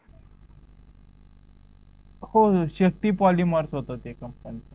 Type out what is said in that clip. हो Shakti poly mart होतं त्या कंपनीचं